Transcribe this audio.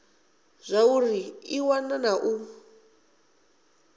zwauri i wana na u